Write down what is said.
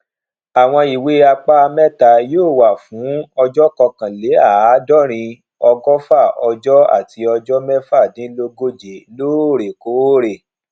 àwọn ìwé apá mẹta yóò wà fún ọjọ kọkànléàádọrin ọgọfà ọjọ àti ọjọ mẹfàdínlógóje lóòrèkóòrè